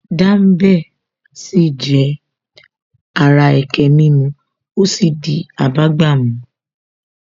Dambe sì jẹ́ ara ẹkẹ mímu ó sì ti abágbàmu